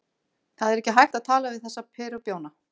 Það er ekki hægt að tala við þessa perubjána.